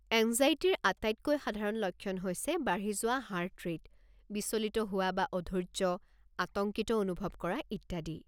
এঙ্জাইটিৰ আটাইতকৈ সাধাৰণ লক্ষণ হৈছে বাঢ়ি যোৱা হাৰ্ট ৰে'ট, বিচলিত হোৱা বা অধৈৰ্য্য, আতংকিত অনুভৱ কৰা ইত্যাদি।